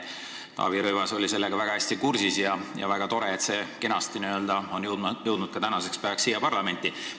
Taavi Rõivas on selle teemaga väga hästi kursis olnud ja väga tore, et see eelnõu on kenasti täna siia parlamenti jõudnud.